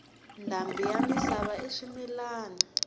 ndhambi yi misava i swimilana